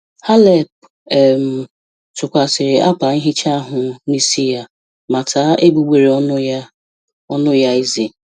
Halep um tụkwasịrị akwa nhicha ahụ n'isi ya ma taa egbugbere ọnụ ya ọnụ ya eze